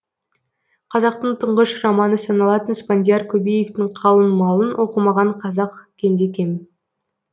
қазақтың тұңғыш романы саналатын спандияр көбеевтің қалың малын оқымаған қазақ кемде кем